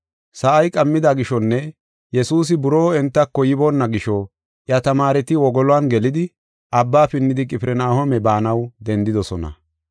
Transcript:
Sa7ay qammida gishonne Yesuusi buroo entako yiboona gisho iya tamaareti wogolon gelidi abba pinnidi Qifirnahooma baanaw dendidosona.